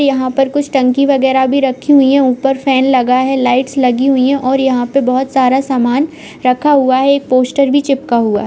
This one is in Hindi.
यहाँ पर कुछ टंकी वगेरा भी रखी हुई हैं ऊपर फैन लगा हैलाइट्स लगी हुई हैं और यहाँ पर बहोत सारा सामान रखा हुआ है। एक पोस्टर भी चिपका हुआ है।